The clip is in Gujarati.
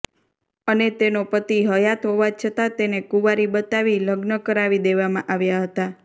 અને તેનો પતિ હયાત હોવા છતાં તેને કુંવારી બતાવી લગ્ન કરાવી દેવામાં આવ્યાં હતાં